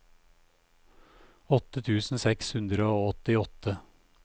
åtte tusen seks hundre og åttiåtte